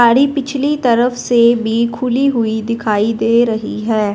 साड़ी पिछली तरफ से भी खुली हुई दिखाई दे रही है।